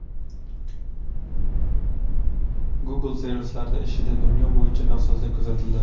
Google servislari ishida dunyo bo‘yicha nosozlik kuzatildi.